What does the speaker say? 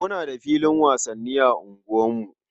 Muna da filin wasanni a unguwarku.